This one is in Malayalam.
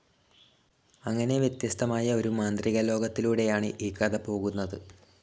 അങ്ങനെ വ്യത്യസ്തമായ ഒരു മാന്ത്രികലോകത്തിലൂടെയാണ് ഈ കഥ പോകുന്നത്.